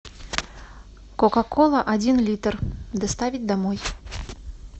кока кола один литр доставить домой